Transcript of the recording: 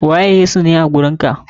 Waye ne Yesu a wajen ka?